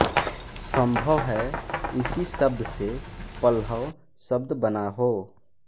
संभव है इसी शब्द से पह्लव शब्द बना हो